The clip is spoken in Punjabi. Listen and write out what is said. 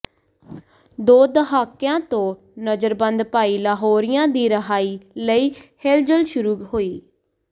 ਦੋ ਦਹਾਕਿਆਂ ਤੋਂ ਨਜ਼ਰਬੰਦ ਭਾਈ ਲਾਹੌਰੀਆ ਦੀ ਰਿਹਾਈ ਲਈ ਹਿਲਜੁਲ ਸ਼ੁਰੂ ਹੋਈ